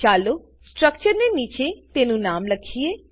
ચાલો સ્ટ્રક્ચરની નીચે તેનું નામ લખીએ